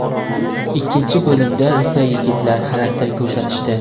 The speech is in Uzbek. Ikkinchi bo‘limda esa yigitlar xarakter ko‘rsatishdi.